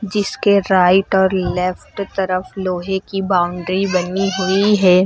जिसके राइट और लेफ्ट तरफ लोहे की बाउंड्री बनी हुई है।